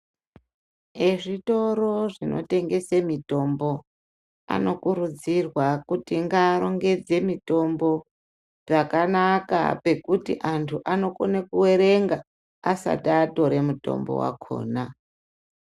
Vezvitoro zvinotengese mitombo, anokurudzirwa kuti ngaarongedze mitombo pakanaka, pekuti antu anokone kuerenga asati atore mutombo wakhona.